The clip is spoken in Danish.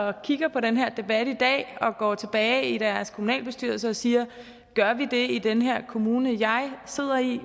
og kigger på den her debat i dag og går tilbage i deres kommunalbestyrelser og siger gør vi det i den her kommune jeg sidder i